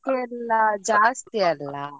ಜಾಸ್ತಿ ಅಲ್ಲ.